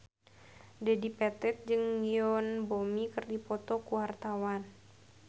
Dedi Petet jeung Yoon Bomi keur dipoto ku wartawan